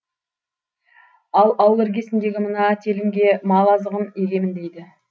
ал ауыл іргесіндегі мына телімге мал азығын егемін дейді